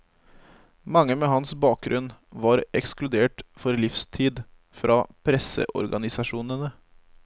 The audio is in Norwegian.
Mange med hans bakgrunn var ekskludert for livstid fra presseorganisasjonene.